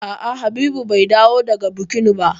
A'a Habibu bai dawo daga bukin ba.